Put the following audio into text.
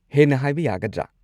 ꯍꯦꯟꯅ ꯍꯥꯏꯕ ꯌꯥꯒꯗ꯭ꯔꯥ?